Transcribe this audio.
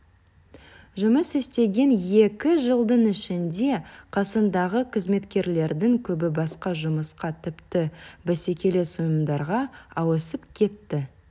жұмыс істеген екі жылдың ішінде қасындағы қызметкерлердің көбі басқа жұмысқа тіпті бәсекелес ұйымдарға ауысып кетті